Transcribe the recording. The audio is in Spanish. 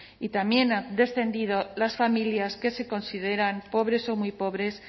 y también han descendido las familias que se consideran pobres o muy pobres